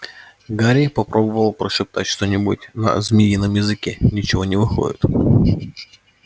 гарри попробовал прошептать что-нибудь на змеином языке ничего не выходит